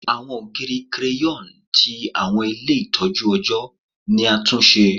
Awọn ogiri crayon ti awọn ile itọju ọjọ ni a tun ṣe